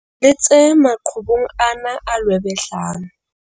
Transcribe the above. Le tse maqhubung ana a lwebehlang.